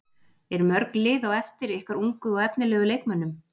Eru mörg lið á eftir ykkar ungu og efnilegu leikmönnum?